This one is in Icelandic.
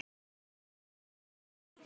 Bergþór og Hildur.